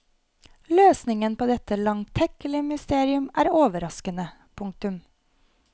Løsningen på dette langtekkelige mysterium er overraskende. punktum